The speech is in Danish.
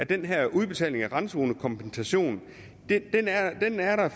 den her udbetaling af randzonekompensation